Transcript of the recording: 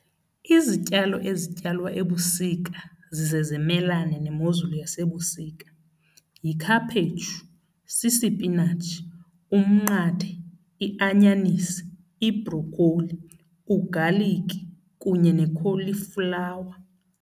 Izityalo ezityalwa ebusika zize zimelane nemozulu yasebusika yikhaphetshu, sisipinatshi, umnqathe, ianyanisi, ibrokholi, ugaliki kunye nekholiflawa.